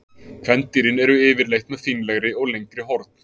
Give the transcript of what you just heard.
Kvendýrin eru yfirleitt með fínlegri og lengri horn.